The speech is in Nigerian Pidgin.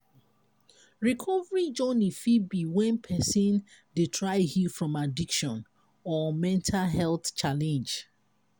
recovery journey fit be when person dey try heal from addiction or mental health challenge